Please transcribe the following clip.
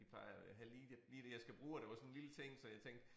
De plejer at have lige det lige det jeg skal bruge og det var sådan en lille ting så jeg tænkte